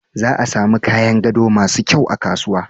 A samun kayan gado masu kyau a kasuwa.